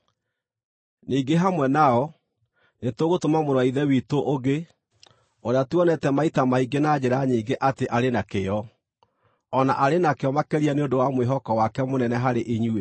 Ningĩ hamwe nao, nĩtũgũtũma mũrũ wa Ithe witũ ũngĩ, ũrĩa tuonete maita maingĩ na njĩra nyingĩ atĩ arĩ na kĩyo, o na arĩ nakĩo makĩria nĩ ũndũ wa mwĩhoko wake mũnene harĩ inyuĩ.